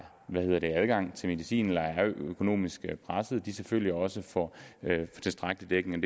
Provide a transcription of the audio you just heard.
adgang til medicin eller er økonomisk pressede selvfølgelig også får tilstrækkelig dækning